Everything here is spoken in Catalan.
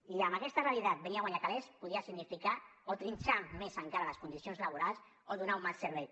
i amb aquesta realitat venir a guanyar calés podria significar o trinxar més encara les condicions laborals o donar un mal servei